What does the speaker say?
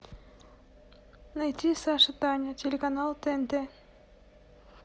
найти саша таня телеканал тнт